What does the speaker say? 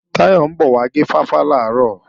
Táyọ̀ ń bọ̀ wá gé fáfá làárọ̀